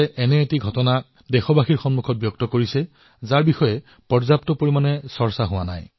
তেওঁ এনে এক ঘটনা পোহৰলৈ আনিছে যাৰ বিষয়ে অতিশয় কম চৰ্চা হৈছে